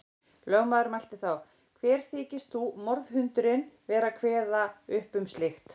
Lögmaður mælti þá: Hver þykist þú, morðhundurinn, vera að kveða upp um slíkt.